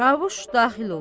Çavuş daxil olur.